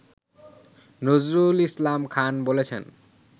নজরুল ইসলাম খান বলেছেন